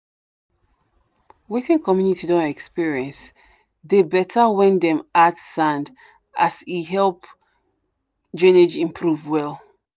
wetin community don experience dey better when dem add sand as e help drainage improve well.